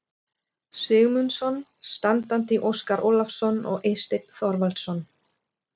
Sigmundsson, standandi Óskar Ólafsson og Eysteinn Þorvaldsson.